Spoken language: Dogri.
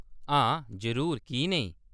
हां, जरूर, की नेईं ?